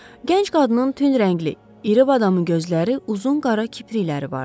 Gənc qadının tünd rəngli, iri badamı gözləri, uzun qara kiprikləri vardı.